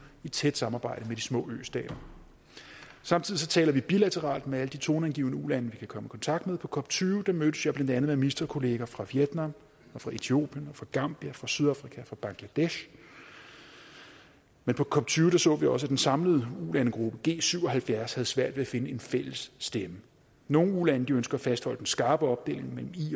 i tæt samarbejde med de små østater samtidig taler vi bilateralt med alle de toneangivende ulande vi kan komme i kontakt med på cop tyve mødtes jeg blandt andet med ministerkolleger fra vietnam fra etiopien fra gambia fra sydafrika fra bangladesh men på cop tyve så vi også at den samlede ulandegruppe g syv og halvfjerds havde svært ved at finde en fælles stemme nogle ulande ønsker at fastholde den skarpe opdeling mellem i